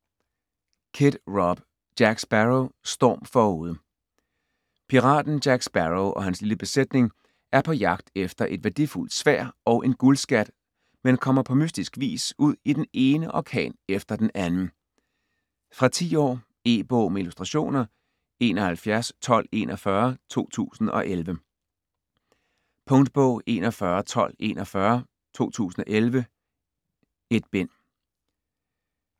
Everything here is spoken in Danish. Kidd, Rob: Jack Sparrow: Storm forude Piraten Jack Sparrow og hans lille besætning er på jagt efter et værdifuldt sværd og en guldskat, men kommer på mystisk vis ud i den ene orkan efter den anden. Fra 10 år. E-bog med illustrationer 711241 2011. Punktbog 411241 2011.1 bind.